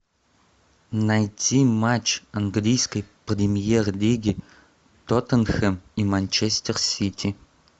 найти матч английской премьер лиги тоттенхэм и манчестер сити